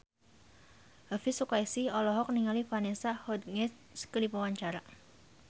Elvy Sukaesih olohok ningali Vanessa Hudgens keur diwawancara